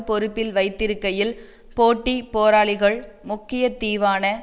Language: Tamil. பொறுப்பில் வைத்திருக்கையில் போட்டிப் போராளிகள் முக்கிய தீவான